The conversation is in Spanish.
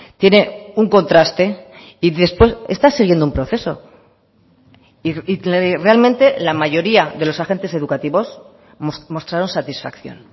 tiene un contraste y después está siguiendo un proceso realmente la mayoría de los agentes educativos mostraron satisfacción